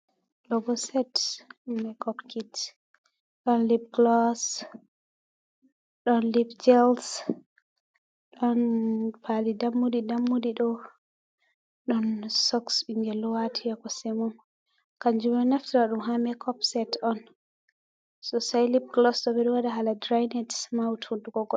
Ɗobo set mek-op kit. Ɗon lip kuloos, ɗon jels . Ɗonpali dammuɗi dammuɗi ɗo. Ɗon soks binge ɗo wati ha ko sɗemom. Kanjum beɗo naftira ɗum ha makop set on. So sai lip golos ɗo be do wada hala dirinit maut hunɗuko goɗɗo.